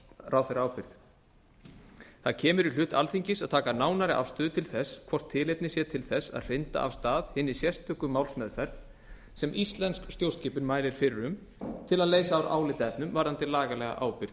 ráðherraábyrgð það kemur í hlut alþingis að taka nánari afstöðu til þess hvort tilefni sé til þess að hrinda af stað hinni sérstöku málsmeðferð sem íslensk stjórnskipun mælir fyrir um til að leysa úr álitaefnum varðandi lagalega ábyrgð